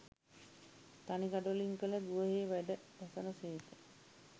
තනි ගඩොලින් කළ ගෘහයෙහි වැඩවසන සේක